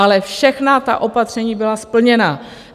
Ale všechna ta opatření byla splněna.